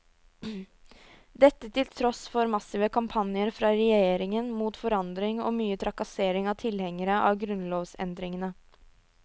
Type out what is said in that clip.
Dette til tross for massive kampanjer fra regjeringen mot forandring og mye trakassering av tilhengerne av grunnlovsendringene.